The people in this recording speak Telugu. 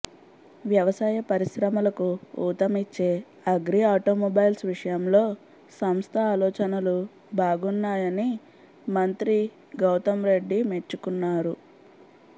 వ్యవసాయ పరిశ్రమలకు ఊతమిచ్చే అగ్రి ఆటోమొబైల్స్ విషయంలో సంస్థ ఆలోచనలు బాగున్నాయని మంత్రి గౌతమ్ రెడ్డి మెచ్చుకున్నారు